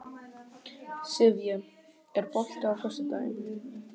Sivía, er bolti á föstudaginn?